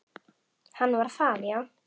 Hann var það, já.